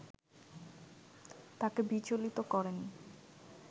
তাঁকে বিচলিত করেনি